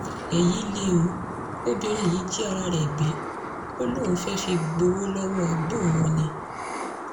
èyí lẹ o obìnrin yìí jí ara ẹ̀ gbé ó lóun fẹ́ẹ́ fi gbowó lọ́wọ́ ẹ̀gbọ́n òun ni